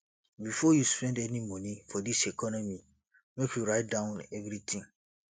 before you spend any moni for dis economy make you write down everytin